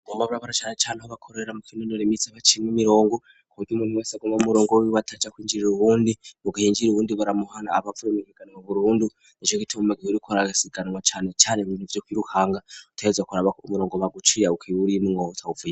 boma burabara chana chanu habakorera mu kinunure misiva chimwe mirongo kodi umuntu wasagoma umurongo weiwataca kwinjirira uwundi mugahenjira uwundi baramuhana abapvure mikeganwa vurhundu nechokitom magih urikora akasiganwa chane chane mvinu vyo kw'iruhanga utayedzakoraa murongo maguciya uko iuri in mwea utauvue